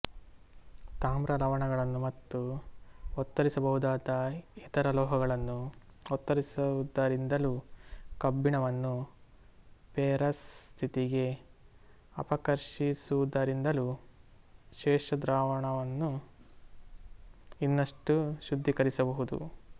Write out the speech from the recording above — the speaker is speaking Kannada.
ತಾಮ್ರಲವಣಗಳನ್ನು ಮತ್ತು ಒತ್ತರಿಸಬಹುದಾದ ಇತರ ಲೋಹಗಳನ್ನು ಒತ್ತರಿಸುವುದರಿಂದಲೂ ಕಬ್ಬಿಣವನ್ನು ಫೆರಸ್ ಸ್ಥಿತಿಗೆ ಅಪಕರ್ಷಿಸುವುದರಿಂದಲೂ ಶೇಷದ್ರಾವಣವನ್ನು ಇನ್ನಷ್ಟು ಶುದ್ಧೀಕರಿಸಬಹುದು